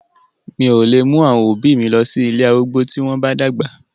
Mi ò lè mú àwọn òbí mi lọ sí ilé arúgbó tí wọ́n bá dàgbà.